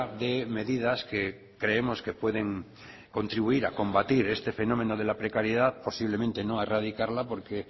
de medidas que creemos que pueden contribuir a combatir este fenómeno de la precariedad posiblemente no a erradicarla porque